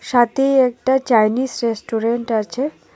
সাথেই একটা Chinese restaurant আছে.